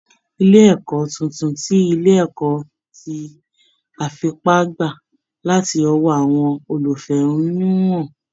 Ilé ìkọ́ tuntun ti ilé ẹ̀kọ́ ti àfipá gbà láti ọwọ́ àwọn olùfẹ́hónúhàn